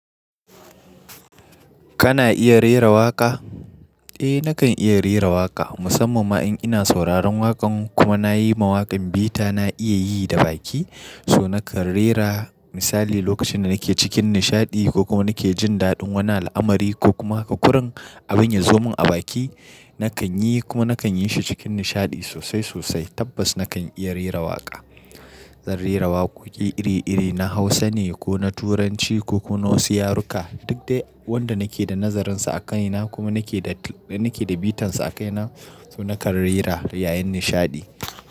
Kana iya rera waƙa? Eh nakan iya rera waƙa, musamman ma in ina sauraron waƙan, kuma nayi ma waƙan bita na iya yi da baki, So nakan rera, misali lokacin da nake cikin nishaɗi, ko kuma nake jin daɗin wani al'amari, ko kuma haka kurun, abun ya zo mun a baki. Nakan yi kuma nakan yi shi cikin nishaɗi sosai sosai, tabbas nakan iya rera waƙa. Zan rera waƙoƙi iri-iri, na Hausa ne, ko na Turanci, ko kuma na wasu yaruka, duk dai wanda nake da nazarinsa a kaina kuma nake da, nake da bitansa a kaina, so nakan rera yayin nishaɗi,